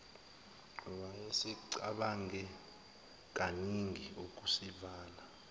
wayesecabange kaningi ukusivala